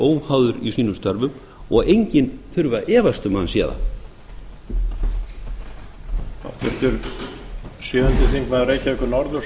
óháður í sínum störfum og enginn þurfi að efast um að hann sé það